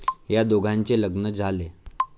या दोघांचे लग्न झाले.